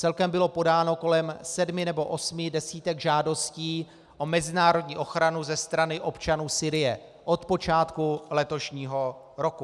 Celkem bylo podáno kolem sedmi nebo osmi desítek žádostí o mezinárodní ochranu ze strany občanů Sýrie od počátku letošního roku.